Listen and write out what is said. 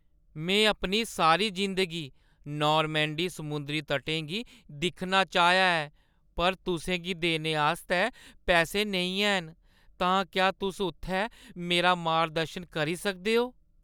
मैं अपनी सारी जिंदगी नॉरमैंडी समुंदरी तटें गी दिक्खना चाहेआ ऐ पर तुसें गी देने आस्तै पैसे नेईं हैन, तां क्या तुस उत्थै मेरा मार्गदर्शन करी सकदेओ?